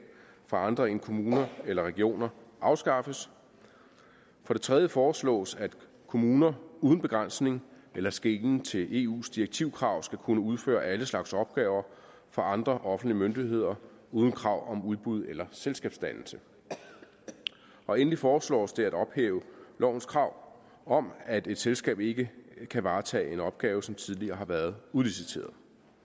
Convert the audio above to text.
for andre end kommuner eller regioner afskaffes for det tredje foreslås at kommuner uden begrænsning eller skelen til eus direktivkrav skal kunne udføre alle slags opgaver for andre offentlige myndigheder uden krav om udbud eller selskabsdannelse og endelig foreslås det at ophæve lovens krav om at et selskab ikke kan varetage en opgave som tidligere har været udliciteret